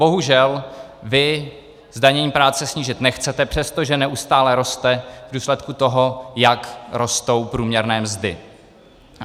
Bohužel vy zdanění práce snížit nechcete, přestože neustále roste v důsledku toho, jak rostou průměrné mzdy.